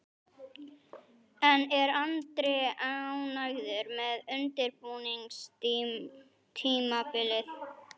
En er Andri ánægður með undirbúningstímabilið?